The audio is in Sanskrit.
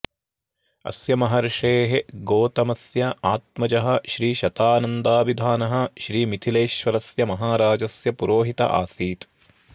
अस्य महर्षे र्गोतमस्याऽऽत्मजः श्रीशतानन्दाभिधानः श्रीमिथिलेश्वरस्य महाराजस्य पुरोहित आसीत्